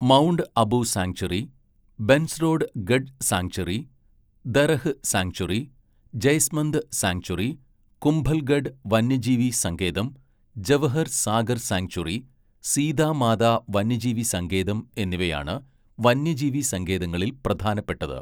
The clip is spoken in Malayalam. Mount Abu sanctuary, Bhensrod Garh sanctuary, Darrah sanctuary, Jaisamand sanctuary, Kumbhalgarh വന്യജീവി സങ്കേതം, ജവഹർ സാഗർ സാങ്ച്വറി, സീതാ മാതാ വന്യജീവി സങ്കേതം എന്നിവയാണ് വന്യജീവി സങ്കേതങ്ങളിൽ പ്രധാനപ്പെട്ടത്.